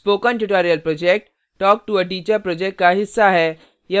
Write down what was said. spoken tutorial project talktoa teacher project का हिस्सा है